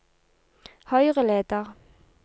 høyreleder